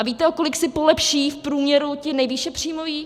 A víte, o kolik si polepší v průměru ti nejvýše příjmoví?